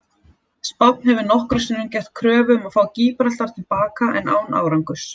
Spánn hefur nokkrum sinnum gert kröfu um að fá Gíbraltar til baka en án árangurs.